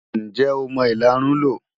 Ǹjẹ́ o mọ ìlarun lò?